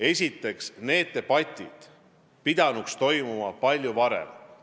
Esiteks, need debatid pidanuks toimuma palju varem.